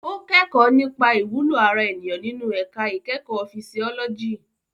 Ó kẹ́kọ̀ọ́ nípa ìwúlò ara ènìyàn nínú ẹ̀ka ìkẹ́kọ̀ọ́ fisiọ́lọ́jì.